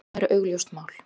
Það er augljóst mál.